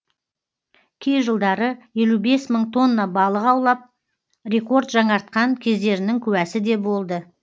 кей жылдары елу бес мың тонна балық аулап рекорд жаңартқан кездерінің куәсі де болды